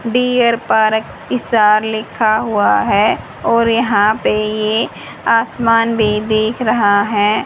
Dear park star लिखा हुआ है और यहां पे ये आसमान भी दिख रहा है।